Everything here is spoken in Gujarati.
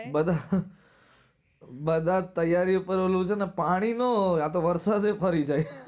બરા બધા જ ત્યારી પર ઓલું છેને પાણી નો હોય આ તો વરસાદ જ ફરી જાય